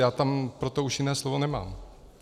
Já tam už pro to jiné slovo nemám.